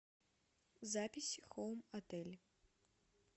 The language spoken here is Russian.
запись хоум отель